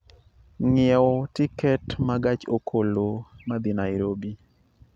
ng'iewo tiket ma gach okoloma dhi Nairobi